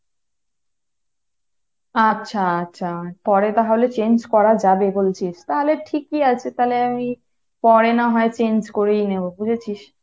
আচ্ছা আচ্ছা পরে তাহলে change করা যাবে বলছিস, তাহলে ঠিকই আছে তাহলে আমি পরে না হয় change করেই নেবো।